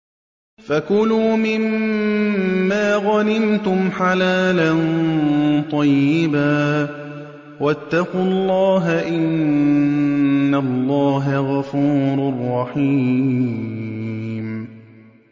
فَكُلُوا مِمَّا غَنِمْتُمْ حَلَالًا طَيِّبًا ۚ وَاتَّقُوا اللَّهَ ۚ إِنَّ اللَّهَ غَفُورٌ رَّحِيمٌ